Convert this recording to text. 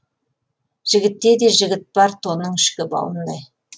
жігітте де жігіт бар тонның ішкі бауындай